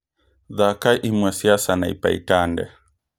thaaka imwe cia sanaipei tande